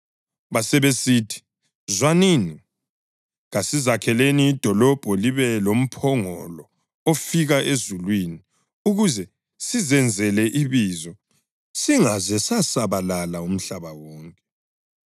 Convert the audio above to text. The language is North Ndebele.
Basebesithi, “Zwanini, kasizakheleni idolobho libe lomphongolo ofika emazulwini, ukuze sizenzele ibizo singaze sasabalala umhlaba wonke.”